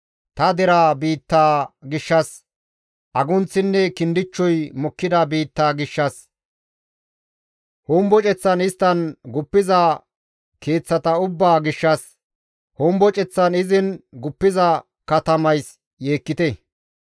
Ta deraa biittaa gishshas, agunththinne kindichchoy mokkida biittaa gishshas, homboceththan isttan guppiza keeththata ubbaa gishshas, homboceththan izin guppiza katamays yeekkite.